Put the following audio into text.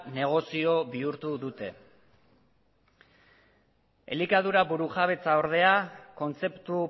negozio bihurtu dute elikadura burujabetza ordea kontzeptu